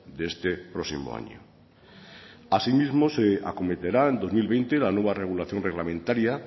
de este próximo año asimismo se acometerá en dos mil veinte la nueva regulación reglamentaria